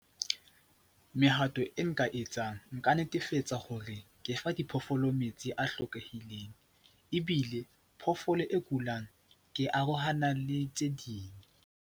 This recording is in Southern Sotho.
Mehato e nka etsang nka netefatsa hore ke fa diphoofolo metsi a hlokehileng ebile phoofolo e kulang ke arohana le tse ding.